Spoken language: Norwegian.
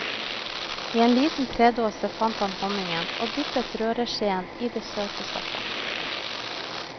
I en liten tredåse fant han honningen, og dyppet røreskjeen i det søte stoffet.